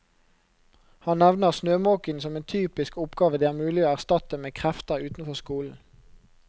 Han nevner snømåking som en typisk oppgave det er mulig å erstatte med krefter utenfor skolen.